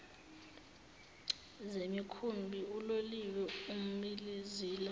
zemikhumbi uloliwe imizila